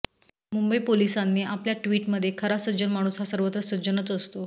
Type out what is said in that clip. मुंबई पोलीसांनी आपल्या ट्विटमध्ये खरा सज्जन माणूस हा सर्वत्र सज्जनच असतो